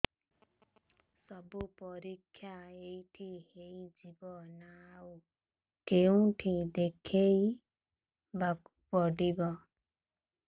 ସବୁ ପରୀକ୍ଷା ଏଇଠି ହେଇଯିବ ନା ଆଉ କଉଠି ଦେଖେଇ ବାକୁ ପଡ଼ିବ